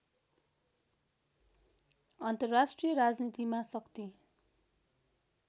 अन्तर्राष्ट्रिय राजनीतिमा शक्ति